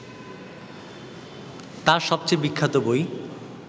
তাঁর সবচেয়ে বিখ্যাত বই